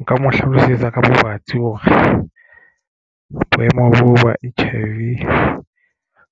Nka mo hlalosetsa ka bobatsi hore boemo ba H_I_V